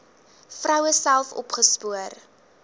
vroue self opgespoor